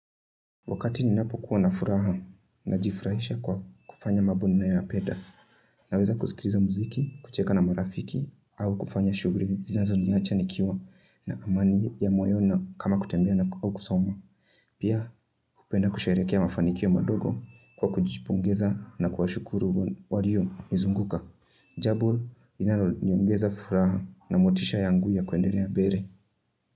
Wakati ninapokuwa na furaha, najifurahisha kwa kufanya mabo ninayoyapeda. Naweza kusikiriza mziki, kucheka na marafiki, au kufanya shuguri zinazo niacha nikiwa na amani ya moyoni kama kutembea au kusoma. Pia, hupenda kusherehekea mafanikio madogo, kwa kujipongeza na kuwashukuru wariyo nizunguka. Jabo, inayoniongeza furaha na motisha yangu ya kuendelea bere.